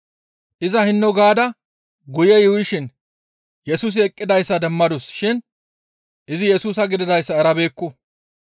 Iza hinno gaada guye yuuyishin Yesusi eqqidayssa demmadus shin izi Yesusa gididayssa erabeekku.